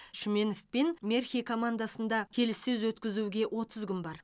шүменов пен мерхи командасында келіссөз өткізуге отыз күн бар